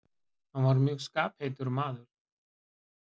Hann var mjög skapheitur maður.